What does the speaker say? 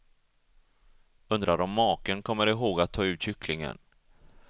Undrar om maken kommer ihåg att ta ut kycklingen?